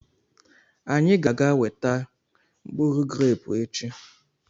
Anyị ga-aga eweta mkpụrụ grẹpu echi.